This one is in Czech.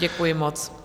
Děkuji moc.